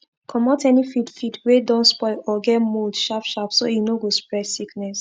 comot any feed feed wey don spoil or get mold sharpsharp so e no go spread sickness